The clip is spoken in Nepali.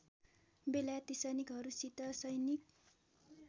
बेलायती सैनिकहरूसित सैनिक